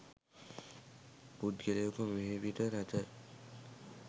පුද්ගලයෙකු මිහිපිට නැත